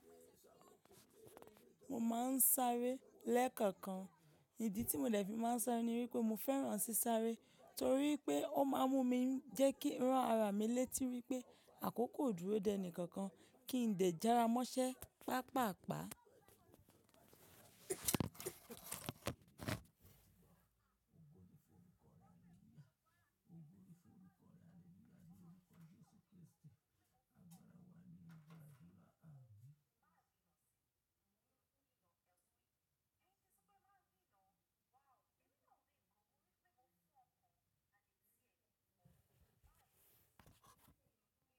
Mo máa ń sáré lẹ́ẹ̀kọ̀kan. Ìdí tí mo dẹ̀ fi máa ń sáré ni wípé mo fẹ́ràn sí sáré torí pé ó máa ń mú jẹ́ kí rán ara mi létí wípé àkókò dúró deni kankan kì í dẹ̀ jara mọṣẹ́ pa pa pa.